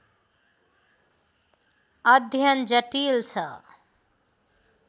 अध्ययन जटिल छ।